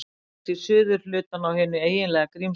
Hér sést suðurhlutinn á hinu eiginlega Grímsnesi.